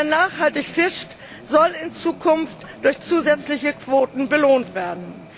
Wer nachhaltig fischt, soll in Zukunft durch zusätzliche Quoten belohnt werden.